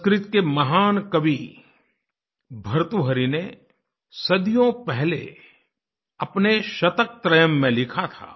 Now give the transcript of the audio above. संस्कृत के महान कवि भर्तृहरि ने सदियों पहले अपने शतकत्रयम् में लिखा था